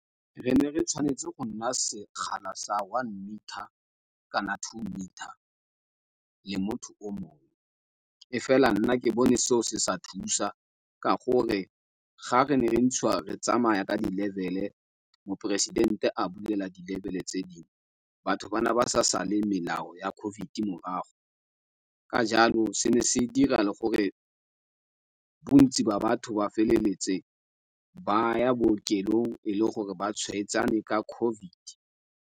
Re ne re tshwanetse go nna sekgala sa one metre kana two metre le motho o mongwe, e fela nna ke bone seo se sa thusa, ka gore ga re ne re ntshiwa re tsamaya ka di level-e, moporesidente a bulela di level-e tse dingwe, batho ba ne ba sa sale melao ya COVID morago. Ka jalo, se dira le gore bontsi ba batho ba feleletse ba ya bookelong, e le gore ba tshwaetsane ka COVID.